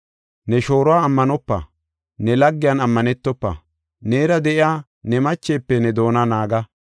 Ne shooruwa ammanopa; ne laggiyan ammanetofa. Neera de7iya ne machefe ne doona naaga.